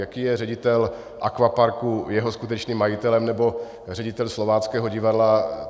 Jaký je ředitel akvaparku jeho skutečným majitelem, nebo ředitel Slováckého divadla?